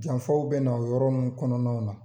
Janfaw bɛ na yɔrɔ ninnu kɔnɔna na.